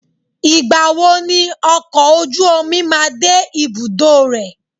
Ìgbà wo ni ọkọ̀ ojú omi máa de ibùdó rẹ̀?